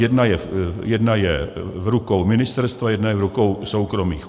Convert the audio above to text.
Jedna je v rukou ministerstva, jedna je v rukou soukromých.